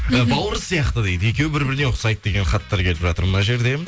бауыр сияқты дейді екеуі бір біріне ұқсайды деген хаттар келіп жатыр мына жерде